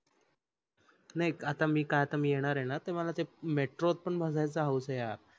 नाही ऐक आता मी आता मी येणार आहे न तर मला ते metro त पण बसायचं हवूस आहे यार